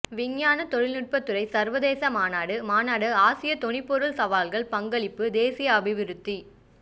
விஞ்ஞான தொழில்நுட்பத் துறை சர்வதேச மாநாடு மாநாடு ஆசியா தொனிப்பொருள் சவால்கள் பங்களிப்பு தேசிய அபிவிருத்தி